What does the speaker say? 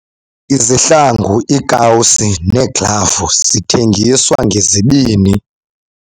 Izihlangu, iikawusi neeglavu zithengiswa ngezibini.